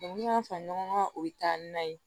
n'i y'a fara ɲɔgɔn kan o bɛ taa ni na ye